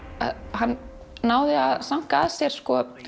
hann náði að sanka að sér